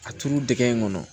A turu dɛgɛ in kɔnɔ